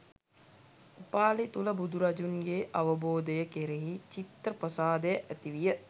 උපාලි තුළ බුදුරජුන්ගේ අවබෝධය කෙරෙහි චිත්ත ප්‍රසාදය ඇති විය